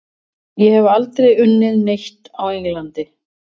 Ég hef aldrei unnið neitt á Englandi.